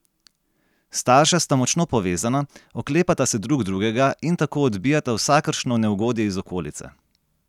Starša sta močno povezana, oklepata se drug drugega in tako odbijata vsakršno neugodje iz okolice.